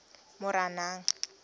moranang